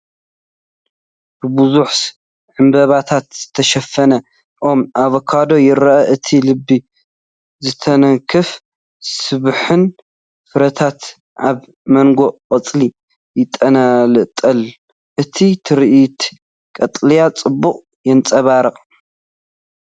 ብብዙሕ ዕምባባታት ዝተሸፈነ ኦም ኣቮካዶ ይርአ። እቲ ልቢ ዝትንክፍን ስቡሕን ፍረታት ኣብ መንጎ ቆጽሊ ይንጠልጠል፤ እቲ ትርኢት ቀጠልያ ጽባቐ የንጸባርቕ።